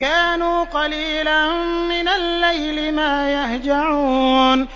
كَانُوا قَلِيلًا مِّنَ اللَّيْلِ مَا يَهْجَعُونَ